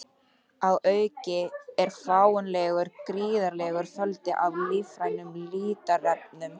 Að auki er fáanlegur gríðarlegur fjöldi af lífrænum litarefnum.